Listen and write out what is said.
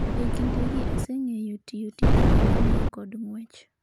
Ekindeni aseng'enyo tiyo tije ng'ama miyo kod ng'wech